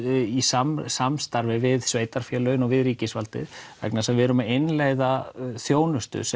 í samstarfi við sveitarfélögin og við ríkisvaldið vegna þess að við erum að innleiða þjónustu sem